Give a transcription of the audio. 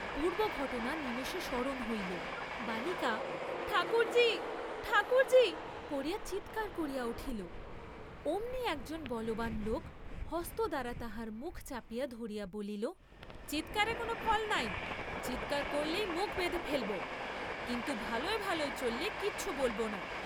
পূর্ব্বঘটনা নিমেষে স্মরণ হইল, বালিকা ঠাকুরজি , ঠাকুরজি করিয়া চাৎকার করিয়া উঠিল, অমনি একজন বলবান লোক হস্ত দ্বারা তাহার মুখ চাপিয়া ধরিয়া বলিল, চীৎকারে কোন ফল নাই, চীৎকার করলেই মুখ বেঁধে ফেলব, কিন্তু ভালয় ভালয় চললে কিছু বলব না।